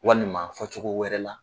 Walima fɔcogo wɛrɛ la.